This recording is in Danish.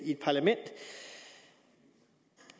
i et parlament